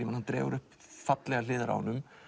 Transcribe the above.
hann dregur upp fallegar hliðar á honum